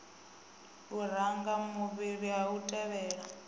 luranga mafhuri a a tevhela